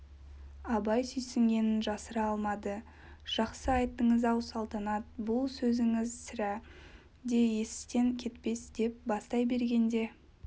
абай сүйсінгенін жасыра алмады жақсы айттыңыз-ау салтанат бұл сөзіңіз сірә де естен кетпес деп бастай бергенде